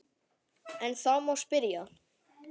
En þá má spyrja?